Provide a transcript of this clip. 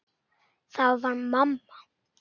Það var mamma.